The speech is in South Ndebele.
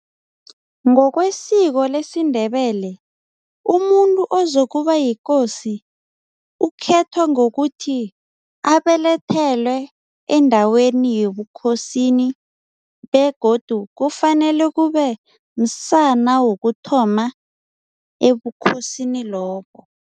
Ngokwesiko lesiNdebele umuntu ozokuba yikosi ukhethwa ngokuthi abelethelwe endaweni yobukhosini begodu kufanele kube msana wokuthoma ebukhosini lobo.